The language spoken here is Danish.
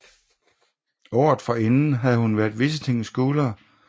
Året forinden havde hun været Visiting Scholar ved Stanford University i USA